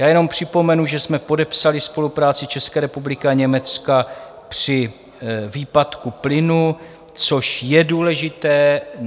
Já jen připomenu, že jsme podepsali spolupráci České republiky a Německa při výpadku plynu, což je důležité.